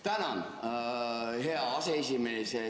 Tänan, hea aseesimees!